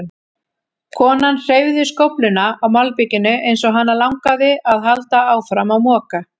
Konan hreyfði skófluna á malbikinu eins og hana langaði að halda áfram að moka.